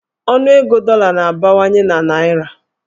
Ọnụego dọla na-abawanye na naịra.